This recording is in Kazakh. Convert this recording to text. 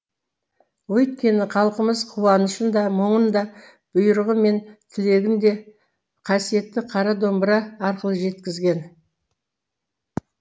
өйткені халқымыз қуанышын да мұңын да бұйрығы мен тілегін де қасиетті қара домбыра арқылы жеткізген